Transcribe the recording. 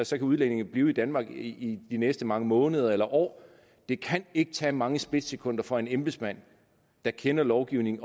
så kan udlændingen blive i danmark i de næste mange måneder eller år det kan ikke tage mange splitsekunder for en embedsmand der kender lovgivningen